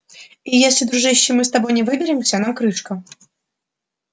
и если дружище мы с тобой не выберемся нам крышка